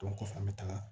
kɔfɛ an bɛ taga